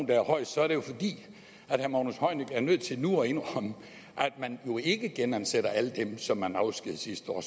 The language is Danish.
der er højest er det jo fordi herre magnus heunicke er nødt til nu at indrømme at man jo ikke genansætter alle dem som man afskedigede sidste år